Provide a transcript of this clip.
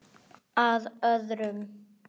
Að öðru.